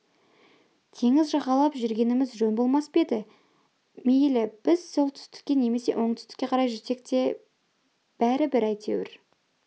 теңіз жағалап жүргеніміз жөн болмас па еді мейлі біз солтүстікке немесе оңтүстікке қарай жүрсек те бәрі бір әйтеуір